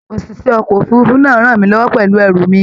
ÒṢìṣẹ́ ọkọ̀ òfurufú náà rànmí lọ́wọ́ pẹ̀lú ẹrù mi